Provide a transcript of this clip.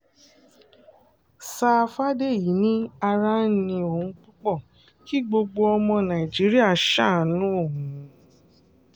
sá fàdèyí ni ara ń ni òun púpọ̀ kí gbogbo ọmọ nàìjíríà ṣàánú òun